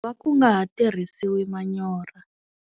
Va ku nga ha tirhisiwi manyoro.